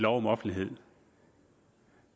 om offentlighed